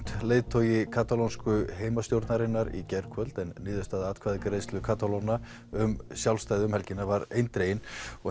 leiðtogi katalónsku heimastjórnarinnar í gærkvöld en niðurstaða atkvæðagreiðslu Katalóna um sjálfstæði var eindregin